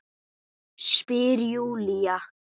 Spyr Júlía.